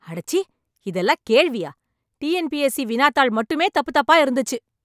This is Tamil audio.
அடச்சீ இதெல்லாம் கேள்வியா ?T N P S C வினாத்தாள் மட்டுமே தப்பு தப்பா இருந்துச்சு?